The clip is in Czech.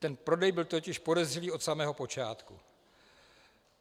Ten prodej byl totiž podezřelý od samého počátku.